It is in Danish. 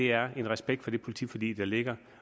jeg har respekt for det politiforlig der ligger